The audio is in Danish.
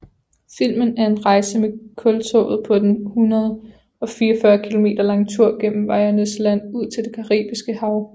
Filmen er en rejse med kultoget på den 144 km lange tur gennem wayúernes land ud til Det Caribiske Hav